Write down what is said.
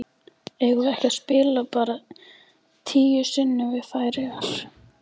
Eigum við ekki að spila bara tíu sinnum við Færeyjar?